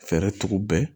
Fɛɛrɛ tugu bɛɛ